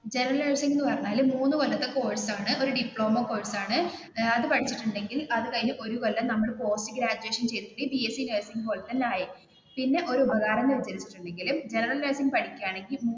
general നേഴ്സിങ്എന്ന് പറഞ്ഞാൽ മൂന്നു കൊല്ലത്തെ കോഴ്സ് ആണ് ഡിപ്ലോമ കോഴ്സ് ആണ് അത് പഠിച്ചിട്ടുണ്ടെങ്കിൽ അത് കഴിഞ്ഞു ഒരു കൊല്ലം നമ്മൾപോസ്റ്റ് ഗ്രാജുവേഷൻ പിന്നെ ഒരു ഉപകാരം എന്ന് വെച്ചിട്ടുണ്ടെങ്കിൽ ജനറൽ നേഴ്സിങ് പഠിക്കുകയാണെങ്കിൽ,